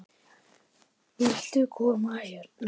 Viltu koma hérna?